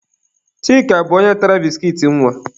Chika bụ onye tara biskit nwa.